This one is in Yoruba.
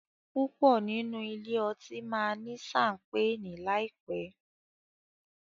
púpọ nínú ilé otí ma ní Ṣampeeni láìpé.